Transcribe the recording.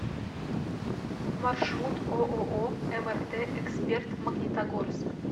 маршрут ооо мрт эксперт магнитогорск